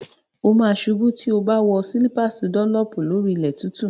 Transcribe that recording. O ma ṣubú tí o bá wọ slípàsì dọ́nlọ̀pù lórí ilẹ̀ tútù.